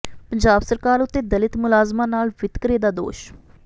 ਪੰਜਾਬ ਸਰਕਾਰ ਉੱਤੇ ਦਲਿਤ ਮੁਲਾਜ਼ਮਾਂ ਨਾਲ ਵਿਤਕਰੇ ਦਾ ਦੋਸ਼